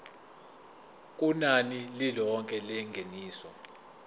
kunani lilonke lengeniso